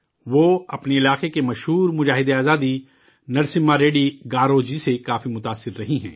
وہ اپنے علاقے کے مشہور مجاہد آزادی نرسمہا ریڈی گارو جی سے کافی متاثر رہی ہیں